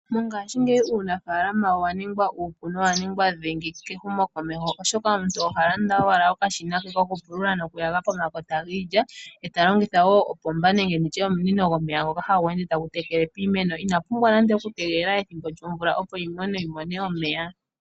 Mongashingeyi uunafaalama owaningwa uupu na owaningwa dhingi kehumo komeho oshoka omuntu ohalanada owala okashina ke kokupulula nokuyaga pomakota giilya, eta longitha opomba nenge omunino gomeya ngoka hagu ende tagu tekele piimeno ina pumbwa nande okutegelela ethimbo lyomvula opo iimeno yimone omeya.